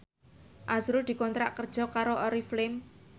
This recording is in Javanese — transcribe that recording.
azrul dikontrak kerja karo Oriflame